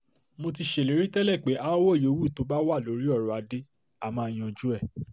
mo ti ṣèlérí tẹ́lẹ̀ pé aáwọ̀ yòówù tó bá wà lórí ọ̀rọ̀ adé á máa yanjú ẹ̀